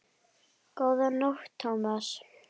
Góða nótt, Thomas